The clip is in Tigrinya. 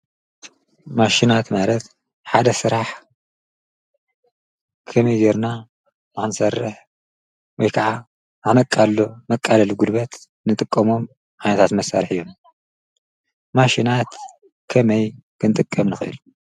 ማሽናት ማለት ሓደ ስራሕ ከመይ ገይርና ንኽንሠርሕ ወይ ከዓ ኣብነቃልሎ መቃልሊ ጕልበታት ንጥቀሞም ዓየነታት መሳርሒ እዮም፡፡ ማሽናት ከመይ ክንጥቀም ንኽእል?